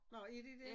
Nå er de det?